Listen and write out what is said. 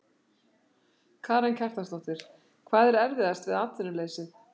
Karen Kjartansdóttir: Hvað er erfiðast við atvinnuleysið?